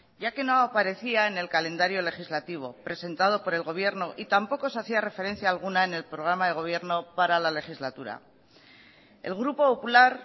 ya que no aparecía en el calendario legislativo presentado por el gobierno y tampoco se hacía referencia alguna en el programa de gobierno para la legislatura el grupo popular